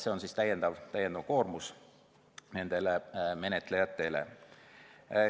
See kõik on lisakoormus menetlejatele.